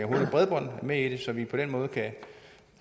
bredbånd med i det så vi på den måde